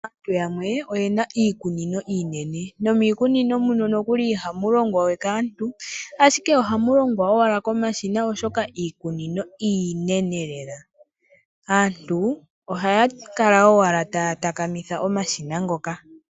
Aantu yamwe oyena iikunino iinene. Miikunino mbyono ihamu longwa we kaantu ashike ohamu longwa owala komashina oshoka iikunino iinene lela. Aantu ohaya kala owala taya takamitha omashina ngoka.